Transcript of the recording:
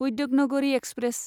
Udyognagari express